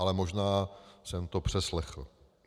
Ale možná jsem to přeslechl.